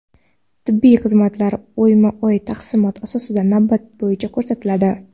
Tibbiy xizmatlar oyma-oy taqsimot asosida navbat bo‘yicha ko‘rsatiladi.